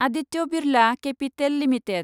Aditya Birla capital limited